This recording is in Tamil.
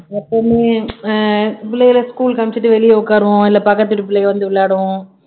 எப்பவுமே அஹ் பிள்ளைகளை school க்கு அனுப்பிச்சுட்டு வெளிய உட்காருவோம் இல்ல பக்கத்து வீட்டு பிள்ளைங்க வந்து விளையாடுவோம்